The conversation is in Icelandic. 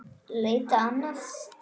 Leita annað?